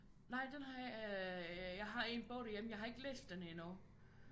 Nej den har jeg øh jeg har en bog derhjemme jeg har ikke læst den endnu